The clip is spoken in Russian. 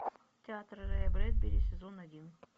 театр рэя брэдбери сезон один